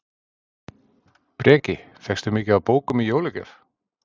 Breki: Fékkstu mikið af bókum í jólagjöf?